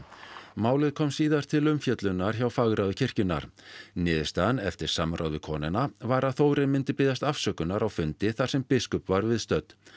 málið komst síðar til umfjöllunar hjá fagráði kirkjunnar niðurstaðan eftir samráð við konuna var að Þórir myndi biðjast afsökunar á fundi þar sem biskup var viðstödd